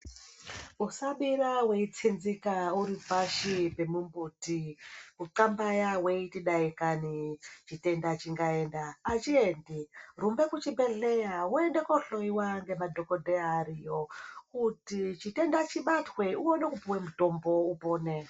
Usabira weitsinzika uripashi pemumbuti, kunxambaya weiti dai Kani chitenda chingaenda , achiendi rumba kuchibhedhlera woende kuhloiwa ngemadhokodheya ariyo kuti chitenda chibatwe uwone kupiwa mutombo upone.